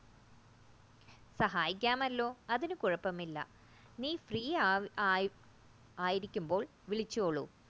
സഹായികമല്ലോ അതിന്നുകൂഴപ്പമില്ല നീ free ആയിരിക്കുമ്പോൾ വിളിച്ചോളൂ